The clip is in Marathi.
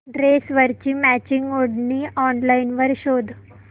ड्रेसवरची मॅचिंग ओढणी ऑनलाइन शोध